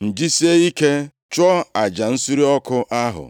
m jisie ike chụọ aja nsure ọkụ ahụ.”